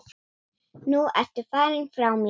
Nú ertu farinn frá mér.